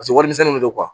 Paseke warimisɛn de don